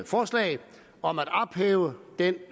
forslag om at ophæve den